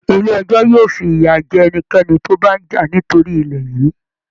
Ilé ẹjọ́ yóò fiya jẹ ẹnikẹ́ni tí ó bá ń jà nítorí ilẹ̀ yìí